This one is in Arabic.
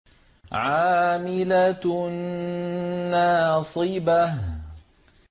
عَامِلَةٌ نَّاصِبَةٌ